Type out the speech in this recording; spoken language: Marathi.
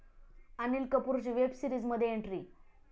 अनिल कपूरची वेब सीरिजमध्ये एंट्री